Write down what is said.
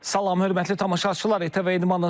Salam, hörmətli tamaşaçılar, ATV İdmanı təqdim edirik.